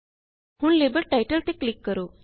ਹੁਣ label title ਤੇ click ਕਰੋ